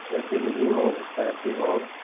वह दिल ही में सहती और